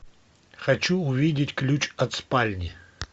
хочу увидеть ключ от спальни